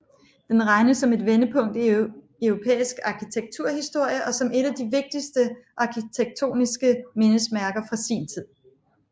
Den regnes som et vendepunkt i europæisk arkitekturhistorie og som et af de vigtigste arkitektoniske mindesmærker fra sin tid